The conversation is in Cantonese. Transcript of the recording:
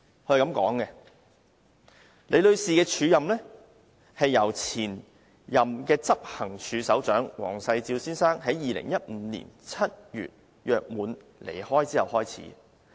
他說李女士的署任期是由前任執行處首長黃世照先生於2015年7月約滿離開後開始。